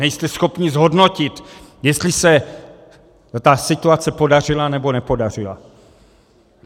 Nejste schopni zhodnotit, jestli se ta situace podařila, nebo nepodařila.